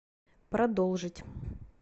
продолжить